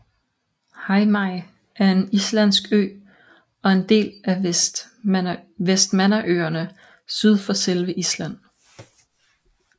Heimaey er en islandsk ø og en del af Vestmannaøerne syd for selve Island